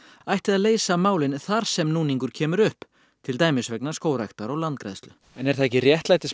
ætti að leysa málin þar sem núningur kemur upp til dæmis vegna skógræktar og landgræðslu en er það ekki réttlætismál